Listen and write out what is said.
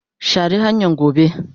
share hanyan gobe.